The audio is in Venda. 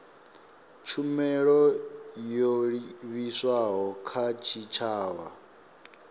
tshumelo yo livhiswaho kha tshitshavha